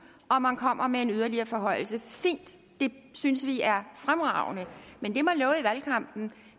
og man kommer med en yderligere forhøjelse fint det synes vi er fremragende men